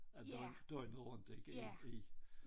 Øh døgnet rundt ik i i